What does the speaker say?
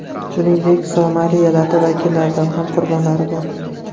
Shuningdek, somali elati vakillaridan ham qurbonlari bor.